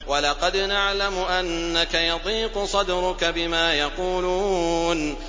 وَلَقَدْ نَعْلَمُ أَنَّكَ يَضِيقُ صَدْرُكَ بِمَا يَقُولُونَ